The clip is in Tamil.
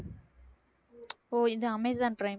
ஓ இது அமேசான் பிரைம்